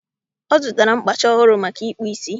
Ọ zụtara mkpacha ọhụrụ maka ịkpụ ísí